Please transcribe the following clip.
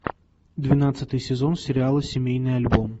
двенадцатый сезон сериала семейный альбом